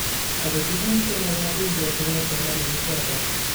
Ako tuku chemakatina ke sire psomananik chotok.